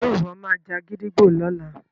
ṣe iwọ má já gídígbò lọla?